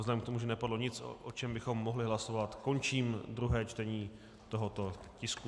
Vzhledem k tomu, že nepadlo nic, o čem bychom mohli hlasovat, končím druhé čtení tohoto tisku.